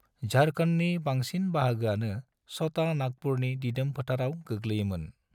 झारखंडनि बांसिन बाहागोआनो छोटा नागपुरनि दिदोम फोथाराव गोग्लैयोमोन।